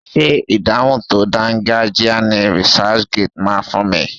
Ṣé ìdáhùn tó dangajia ni researchgate máa fún mi?